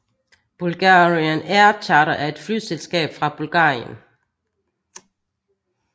Bulgarian Air Charter er et flyselskab fra Bulgarien